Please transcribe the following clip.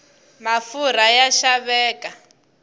mafurha ya xaveka